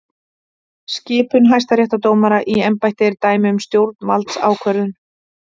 Skipun hæstaréttardómara í embætti er dæmi um stjórnvaldsákvörðun.